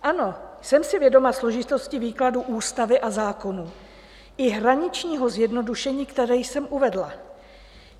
Ano, jsem si vědoma složitosti výkladu ústavy a zákonů i hraničního zjednodušení, které jsem uvedla.